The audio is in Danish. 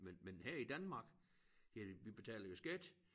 Men men her i Danmark ja vi betaler jo skat